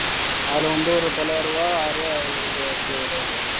அதுல வந்து ஒரு தொள்ளாயிரம் ரூபா ஆயிரம் ரூபா இது அடிச்சிருவார் அவர்